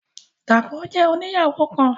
Dapọ jẹ òníyawo kán.